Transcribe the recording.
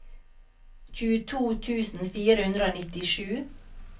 tjueto tusen fire hundre og nittisju